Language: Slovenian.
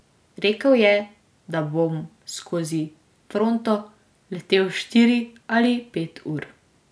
Rekel je, da bom skozi fronto letel štiri ali pet ur.